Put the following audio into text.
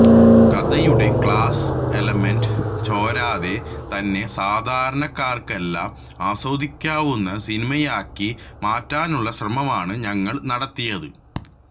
കഥയുടെ class element ചോരാതെ തന്നെ സാധാരണക്കാര്ക്കെല്ലാം ആസ്വദിക്കാവുന്ന സിനിമയാക്കി മാറ്റാനുള്ള ശ്രമമാണ് ഞങ്ങള് നടത്തിയത്